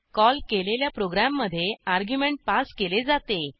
call केलेल्या प्रोग्रॅममधे argument pass केले जाते